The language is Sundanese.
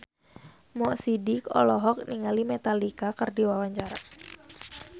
Mo Sidik olohok ningali Metallica keur diwawancara